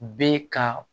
Bɛ ka